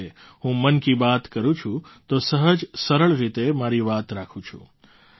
કારણકે હું મન કી બાત કરું છું તો સહજસરળ રીતે મારી વાત રાખું છું